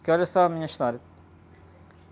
Porque olha só a minha história.